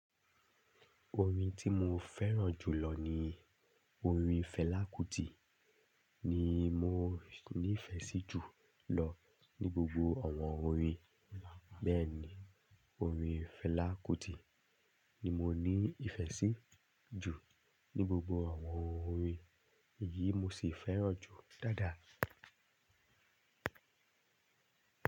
Orin tí mo fẹ́ràn jù lọ ni orin Fẹlá Kútì ni mo shi níìfẹ́ sí ju lọ ní gbogbo àwọn orin. Bẹ́ẹ̀ ni orin Fẹlá Kútì ni mo ní ìfẹ́ sí ju ní gbogbo àwọn orin, èyí mo sì fẹ́ràn jù dáadáa.